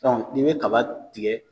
nin bɛ kaba tigɛ